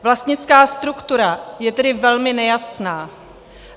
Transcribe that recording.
Vlastnická struktura je tedy velmi nejasná.